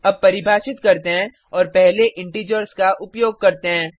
अब परिभाषित करते हैं और पहले इंटिजर्स का उपयोग करते हैं